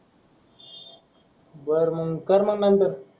बर मंग कर मंग नंनतर,